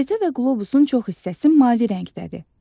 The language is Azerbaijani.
Xəritə və qlobusun çox hissəsi mavi rəngdədir.